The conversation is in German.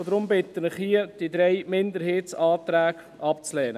Deshalb bitte ich Sie, die drei Minderheitsanträge abzulehnen.